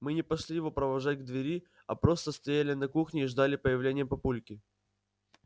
мы не пошли его провожать к двери а просто стояли на кухне и ждали появления папульки